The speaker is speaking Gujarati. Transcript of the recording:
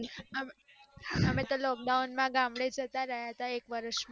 અમે તો lockdown માં તો ગામડે જતા રહયા હતા એક વર્ષ માટે